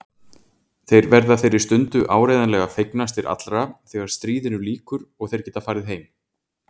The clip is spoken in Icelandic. Þeir verða þeirri stundu áreiðanlega fegnastir allra þegar stríðinu lýkur og þeir geta farið heim.